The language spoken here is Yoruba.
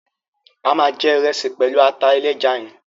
A ma jẹ ìresì pẹlu ata ẹlẹ́ja yẹn